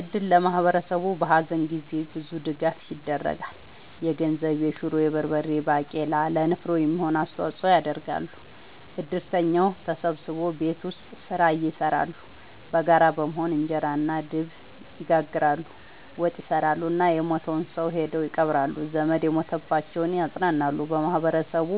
እድር ለማህበረሰቡ በሀዘን ጊዜ ብዙ ድጋፍ ይደረጋል። የገንዘብ፣ የሹሮ፣ የበርበሬ ባቄላ ለንፍሮ የሚሆን አስተዋጽኦ ያደርጋሉ። እድርተኛው ተሰብስቦ ቤት ውስጥ ስራ ይሰራሉ በጋራ በመሆን እንጀራ እና ድብ ይጋግራሉ፣ ወጥ ይሰራሉ እና የሞተውን ሰው ሄደው ይቀብራሉ። ዘመድ የሞተባቸውን ያፅናናሉ በማህበረሰቡ